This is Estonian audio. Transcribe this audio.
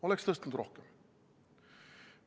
Oleks tõstnud rohkem.